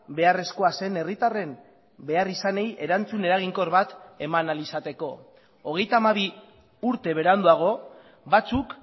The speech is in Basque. beharrezkoa zen herritarren beharrizanei erantzun eraginkor bat eman ahal izateko hogeita hamabi urte beranduago batzuk